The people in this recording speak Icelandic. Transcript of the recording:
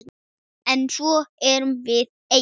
En svo erum við eyja.